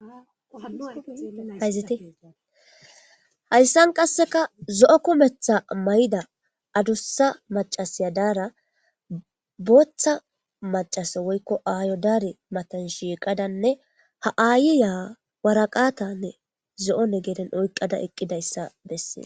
ayzitehayssan qasseka zo7o kumetha mayda adussa macasiya daara booththa macasa woykko aayo daare matan shiiqadanne ha aayiyawaraqatanne zo7one geren oyqqada eqqidayssa bessie